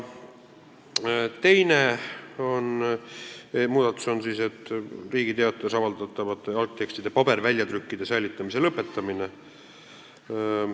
Teine muudatus on Riigi Teatajas avaldatavate algtekstide paberväljatrükkide säilitamise lõpetamine.